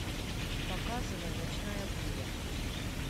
показывай ночная буря